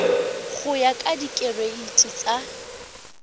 go ya ka direiti tsa